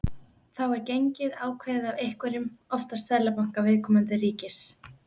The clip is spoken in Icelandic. Þá er gengið ákveðið af einhverjum, oftast seðlabanka viðkomandi ríkis.